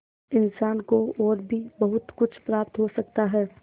इंसान को और भी बहुत कुछ प्राप्त हो सकता है